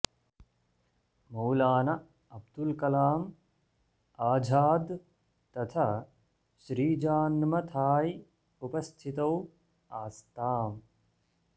मौलाना अब्दुल् कलाम् आझाद् तथा श्रीजान्मथाय् उपस्थितौ आस्ताम्